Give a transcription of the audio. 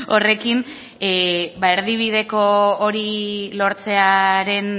horrekin ba erdibideko hori lortzearen